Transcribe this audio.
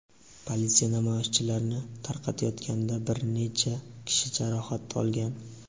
Politsiya namoyishchilarni tarqatayotganda bir necha kishi jarohat olgan.